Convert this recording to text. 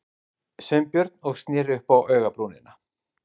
Sveinbjörn og sneri upp á augabrúnina.